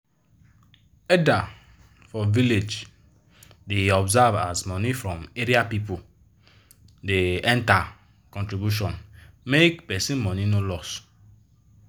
elder for village da observe as money from area people da enter contribution make person money no loss